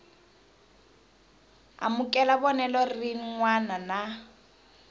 amukela vonelo rin wana na